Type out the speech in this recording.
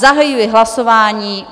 Zahajuji hlasování.